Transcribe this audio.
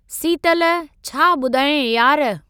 सीतलु छा ॿुधायांइ यार।